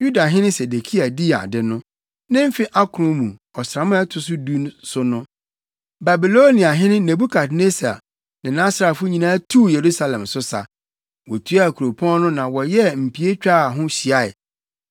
Yudahene Sedekia dii ade no, ne mfe akron mu, ɔsram a ɛto so du so no, Babiloniahene Nebukadnessar ne nʼasraafo nyinaa tuu Yerusalem so sa, wotuaa kuropɔn no na wɔyɛɛ mpie twaa ho hyiae.